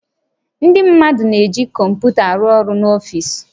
Ndị mmadụ na-eji kọmputa arụ ọrụ n'ọfiisi